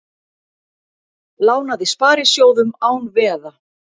Lánaði sparisjóðum án veða